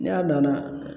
Ne a nana